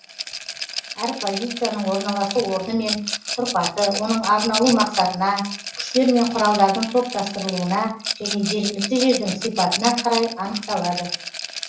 әр позицияның орналасу орны мен тұрпаты оның арналу мақсатына күштер мен құралдардың топтастырылуына және жергілікті жердің сипатына қарай анықталады